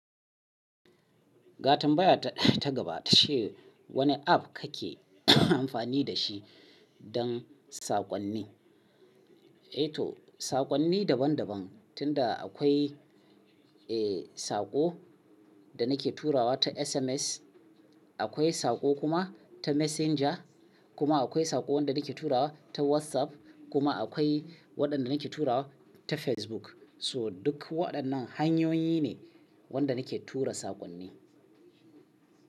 Ga tambaya ta gaba tace wane pp ka ke amfani da shi don saƙonni? Eto saƙonni daban daban tunda akwai, eh, saƙo da na ke turawa ta SMS, akwai saƙo kuma ta messenger, kuma akwai saƙo wanda na ke turawa ta WhatsApp, kuma akwai waɗanda na ke turawa ta Facebook. So duk waɗannan hanyoyi ne wanda na ke tura saƙonni.